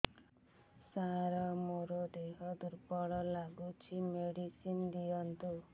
ସାର ମୋର ଦେହ ଦୁର୍ବଳ ଲାଗୁଚି ମେଡିସିନ ଦିଅନ୍ତୁ